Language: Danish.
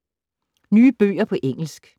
Nye bøger på engelsk